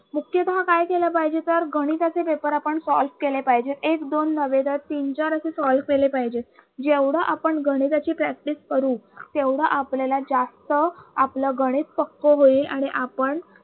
मुख्य भाग काय केलं पाहिजे तर गणिताचे paper आपण solve केले पाहिजेत. एक, दोन नव्हे तर तीन, चार असे solve केले पाहिजेत. जेवढ आपण गणिताची practice करू तेवढा आपल्याला जास्त आपलं गणित पक्क होईल आणि आपण